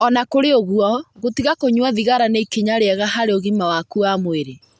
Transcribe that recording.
O na kũrĩ ũguo, gũtiga kũnyua thigara nĩ ikinya rĩega harĩ ũgima waku wa mwĩrĩ.